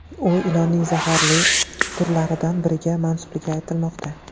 U ilonning zaharli turlaridan biriga mansubligi aytilmoqda.